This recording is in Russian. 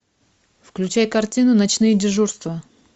включай картину ночные дежурства